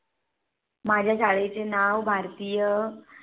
माझ्या शाळेचे नाव भारतीय